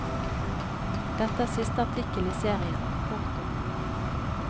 Dette er siste artikkel i serien. punktum